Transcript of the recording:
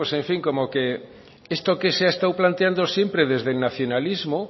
pues en fin como que esto que se ha estado planteando siempre desde el nacionalismo